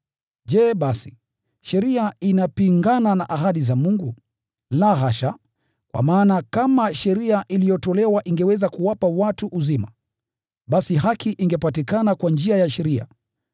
Je basi, sheria inapingana na ahadi za Mungu? La hasha! Kwa maana kama sheria iliyotolewa ingeweza kuwapa watu uzima, basi haki ingepatikana kwa njia ya sheria.